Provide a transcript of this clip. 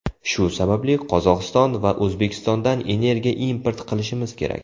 Shu sababli Qozog‘iston va O‘zbekistondan energiya import qilishimiz kerak.